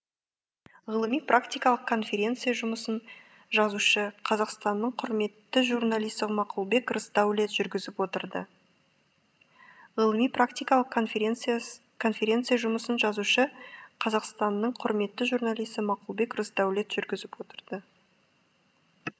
ғылыми практикалық конференция жұмысын жазушы қазақстанның құрметті журналисі мақұлбек рысдәулет жүргізіп отырды ғылыми практикалық конференция жұмысын жазушы қазақстанның құрметті журналисі мақұлбек рысдәулет жүргізіп отырды